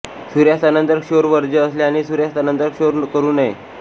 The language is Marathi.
सूर्यास्तानंतर क्षौर वर्ज्य असल्याने सूर्यास्तानंतर क्षौर करू नये